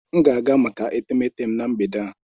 M ga-aga maka etemeete m na mgbede a.